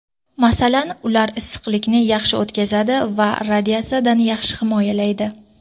Masalan, ular issiqlikni yaxshi o‘tkazadi va radiatsiyadan yaxshi himoyalaydi.